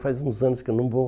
Faz uns anos que eu não vou.